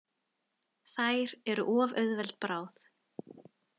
Þær eru of auðveld bráð.